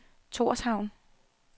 Torshavn